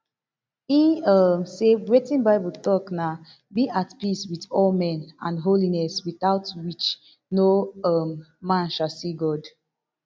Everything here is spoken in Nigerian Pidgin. e um say wetin bible tok na be at peace wit all men and holiness without which no um man shall see god